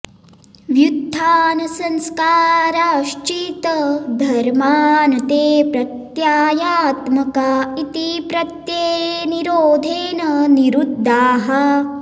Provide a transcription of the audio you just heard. व्युत्थानसंस्काराश्चित्तधर्मा न ते प्रत्ययात्मका इति प्रत्ययनिरोधे न निरुद्धाः